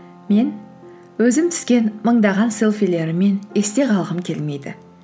мен өзім түскен мыңдаған селфилеріммен есте қалғым келмейді